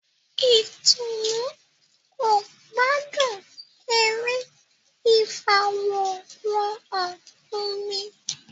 Itunu kò gbádùn eré ifaworanhan omí